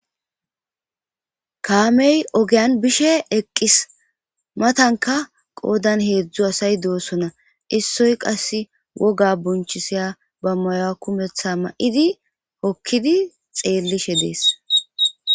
kaamey ogeyan bishe eqqis matanka qoodan heedzdzu asay doosona issoy qass woga bonchisiya ba maya kumetha ma'idi hokkidi xeellishe dees